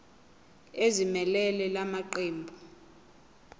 ezimelele la maqembu